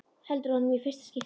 Heldur á honum í fyrsta skipti.